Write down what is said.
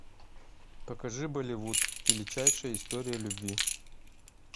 покажи болливуд величайшая история любви